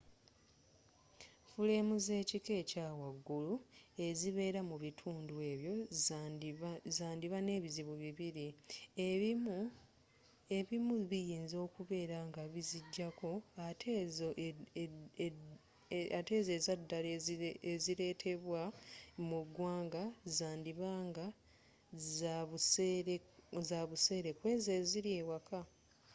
fuleemu zekika ekyawaggulu ezibeera mu bitundu ebyo zandiba nebizibu bibiri ebimu biyinza okubeera nga bizijjako ate ezo ezaddala ezireetebwa mu ggwanga zandiba nga zabuseere kwezo eziri ewaka